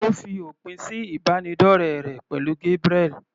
Ó fi òpin sí ìbánidọ́rẹ rẹ̀ pẹ̀lú Gabriel.